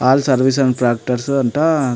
all service and tractors అంట --